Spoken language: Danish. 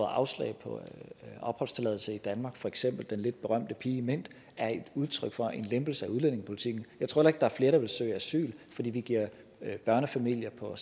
afslag på opholdstilladelse i danmark for eksempel den lidt berømte pige mint er et udtryk for en lempelse af udlændingepolitikken jeg tror der er flere der vil søge asyl fordi vi giver børnefamilier på